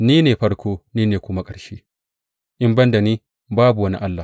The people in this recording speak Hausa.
Ni ne farko ni ne kuma ƙarshe; in ban da ni babu wani Allah.